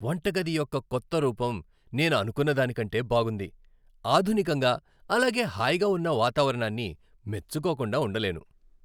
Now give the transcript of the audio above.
వంటగది యొక్క కొత్త రూపం నేను అనుకున్న దానికంటే బాగుంది, ఆధునికంగా అలాగే హాయిగా ఉన్న వాతావరణాన్ని మెచ్చుకోకుండా ఉండలేను.